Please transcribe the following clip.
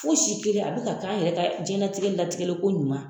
Fosi kelen a bi ka kɛ an yɛrɛ ka jɛnlatigɛ latigɛ ko ɲuman